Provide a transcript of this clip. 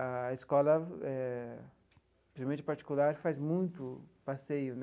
A escola, eh principalmente a particular, faz muito passeio né.